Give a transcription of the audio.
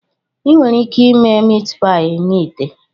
Ị nwere ike ime Meatpie na ite.